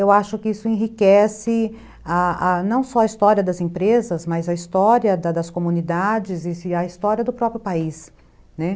eu acho que isso enriquece a a não só a história das empresas, mas a história das comunidades e a história do próprio país.